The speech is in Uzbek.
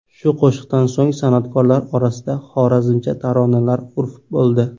Shu qo‘shiqdan so‘ng san’atkorlar orasida xorazmcha taronalar urf bo‘ldi.